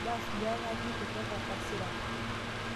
Mbaas duake aatii kutoka tasiran